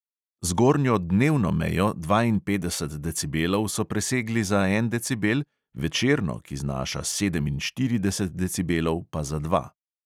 Zgornjo dnevno mejo dvainpetdeset decibelov so presegli za en decibel, večerno, ki znaša sedeminštirideset decibelov, pa za dva.